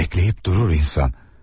Bəkləyib durur insan.